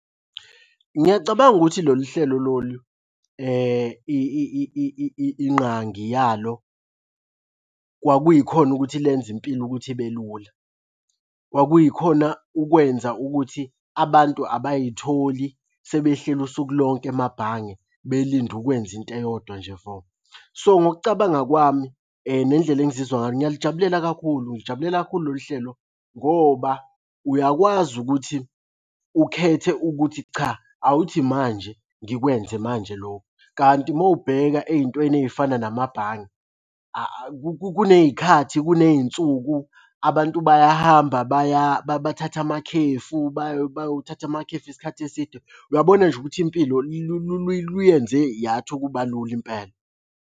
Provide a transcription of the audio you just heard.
Ngiyacabanga ukuthi lolu hlelo lolu ingqangi yalo kwakuyikhona ukuthi lenze impilo ukuthi ibe lula. Kwakuyikhona ukwenza ukuthi abantu abayitholi sebehleli usuku lonke emabhange belinde ukwenza into eyodwa nje vo. So, ngokucabanga kwami nendlela engizizwa ngayo ngiyalijabulela kakhulu, ngilijabulela kakhulu lolu hlelo ngoba uyakwazi ukuthi ukhethe ukuthi cha, awuthi manje ngikwenze manje lokhu. Kanti uma ubheka ey'ntweni ey'fana namabhange kuney'khathi, kuney'nsuku abantu bayahamba bathatha amakhefu, bayothatha amakhefu isikhathi eside, uyabona nje ukuthi impilo luyenze yathi ukuba lula impela.